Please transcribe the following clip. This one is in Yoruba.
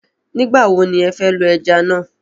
Nígba wò ni ẹ fẹ́ lo ẹja na?